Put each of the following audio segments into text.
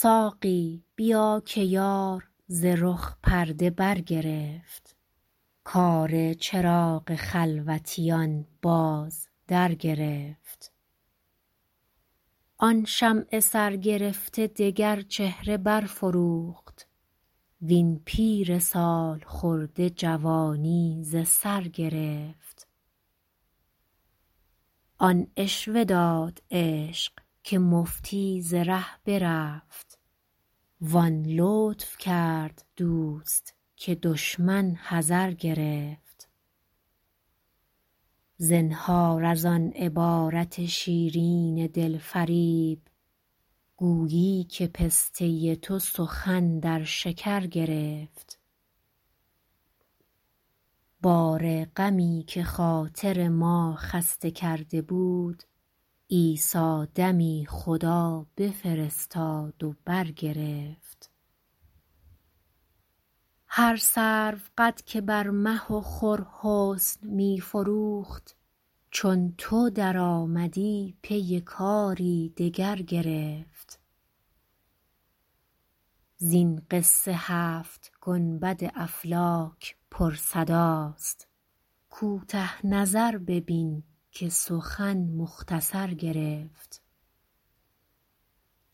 ساقی بیا که یار ز رخ پرده برگرفت کار چراغ خلوتیان باز درگرفت آن شمع سرگرفته دگر چهره برفروخت وین پیر سال خورده جوانی ز سر گرفت آن عشوه داد عشق که مفتی ز ره برفت وان لطف کرد دوست که دشمن حذر گرفت زنهار از آن عبارت شیرین دل فریب گویی که پسته تو سخن در شکر گرفت بار غمی که خاطر ما خسته کرده بود عیسی دمی خدا بفرستاد و برگرفت هر سروقد که بر مه و خور حسن می فروخت چون تو درآمدی پی کاری دگر گرفت زین قصه هفت گنبد افلاک پرصداست کوته نظر ببین که سخن مختصر گرفت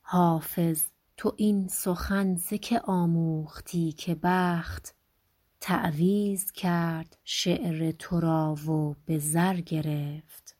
حافظ تو این سخن ز که آموختی که بخت تعویذ کرد شعر تو را و به زر گرفت